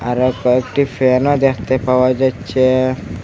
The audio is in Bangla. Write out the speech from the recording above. আরো কয়েকটি ফ্যানও দেখতে পাওয়া যাচ্ছে।